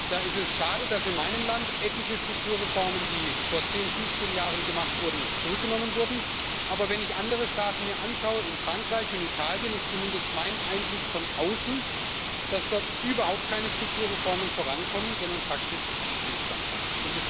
Da ist es schade, dass in meinem Land etliche Strukturreformen, die vor zehn, fünfzehn Jahren gemacht wurden, zurückgenommen wurden, aber wenn ich mir andere Staaten anschaue Frankreich und Italien ist zumindest mein Eindruck von außen, dass dort überhaupt keine Strukturreformen vorankommen, sondern faktisch Stillstand herrscht.